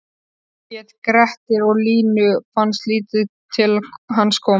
Hann hét Grettir og Línu fannst lítið til hans koma